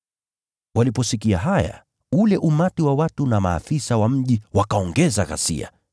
Waliposikia haya, ule umati wa watu na maafisa wa mji wakaongeza ghasia.